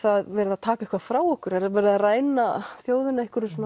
verið að taka eitthvað frá okkur er verið að ræna þjóðina